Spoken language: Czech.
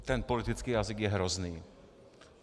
Ten politický jazyk je hrozný.